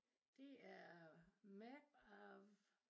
Det er map of